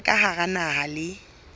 tsa ka hara naha le